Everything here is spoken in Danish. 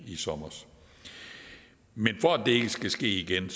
i sommer men for at det ikke skal ske igen